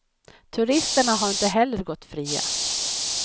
Turisterna har inte heller gått fria.